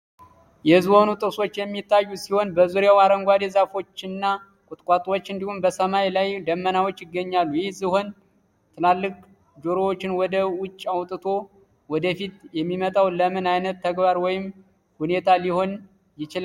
የዝሆኑ ጥርሶች የሚታዩ ሲሆን፣ በዙሪያው አረንጓዴ ዛፎች እና ቁጥቋጦዎች እንዲሁም በሰማይ ላይ ደመናዎች ይገኛሉ። ይህ ዝሆን ትላልቅ ጆሮዎቹን ወደ ውጭ አውጥቶ ወደ ፊት የሚመጣው ለምን አይነት ተግባር ወይም ሁኔታ ሊሆን ይችላል?